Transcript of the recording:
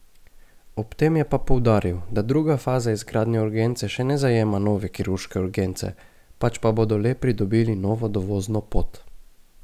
Ob tem je pa poudaril, da druga faza izgradnje urgence še ne zajema nove kirurške urgence, pač pa bodo le pridobili novo dovozno pot.